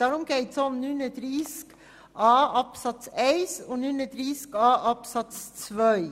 Darum geht es uns bei Artikel 39a Absatz 1 und Absatz 2.